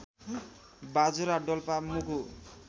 Bajura Dolpa Mugu